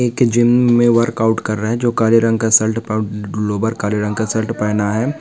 एक जिम मे वर्कआउट कर रहे है जो काले रंग का शर्ट प-लोअर काले रंग का शर्ट पहना है।